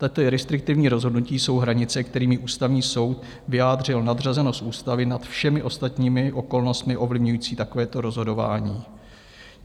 Tato restriktivní rozhodnutí jsou hranice, kterými Ústavní soud vyjádřil nadřazenost ústavy nad všemi ostatními okolnostmi ovlivňujícími takovéto rozhodování.